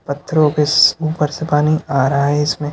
पत्थरो पेस ऊपर से पानी आ रहा हैं इसमें--